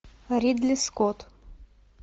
ридли скотт